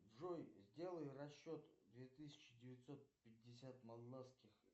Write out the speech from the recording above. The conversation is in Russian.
джой сделай расчет две тысячи девятьсот пятьдесят молдавских